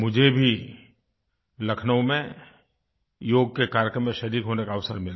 मुझे भी लखनऊ में योग के कार्यक्रम में शरीक़ होने का अवसर मिला